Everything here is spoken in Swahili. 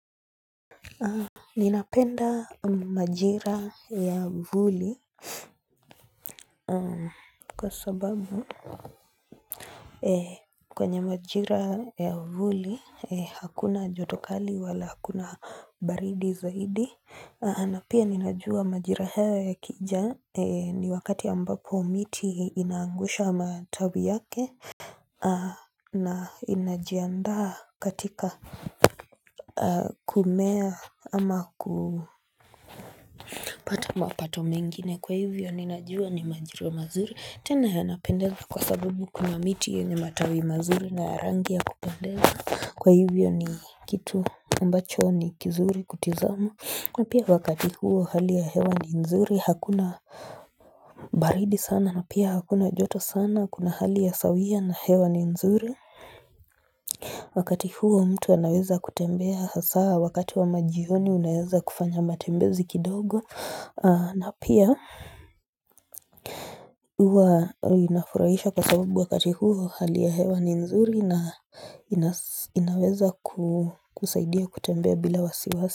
Ninapenda majira ya vuli Kwa sababu kwenye majira ya vuli hakuna jotokali wala hakuna baridi zaidi napia ninajua majira hayo yakija ni wakati ambapo miti inaangusha matawi yake na inajiandaa katika kumea ama ku pata mapato mengine kwa hivyo ninajua ni majira mazuri tena yanapendeza kwa sabubu kuna miti yenye matawi mazuri na yarangi ya kupendeza kwa hivyo ni kitu ambacho ni kizuri kutizama na pia wakati huo hali ya hewa ni nzuri hakuna baridi sana na pia hakuna joto sana kuna hali ya sawia na hewa ni nzuri Wakati huo mtu anaweza kutembea hasa wakati wa majioni unaweza kufanya matembezi kidogo na pia hua inafurahisha kwa sababu wakati huo hali ya hewa ni nzuri na inaweza kusaidia kutembea bila wasiwasi.